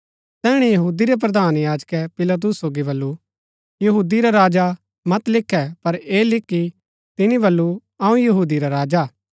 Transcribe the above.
तैहणै यहूदी रै प्रधान याजकै पिलातुस सोगी बल्लू यहूदी रा राजा मत लिखे पर ऐह लिख कि तिनी बल्लू अऊँ यहूदी रा राजा हा